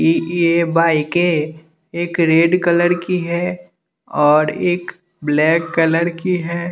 इ इ ये बाइके एक रेड कलर की है और एक ब्लैक कलर की है।